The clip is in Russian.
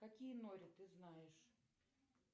какие нори ты знаешь